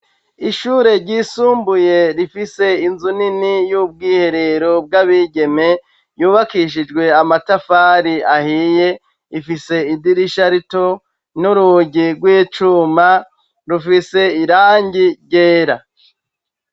Ishure ryisumbuye rifise inzu nini y'ubwiherero bw'abigeme yubakishijwe amatafari ahiye ifise idirisha rito n'urugi rw'icuma rufise irangi ryera.